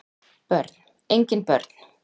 Börn: engin börn